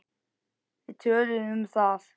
Við töluðum um það.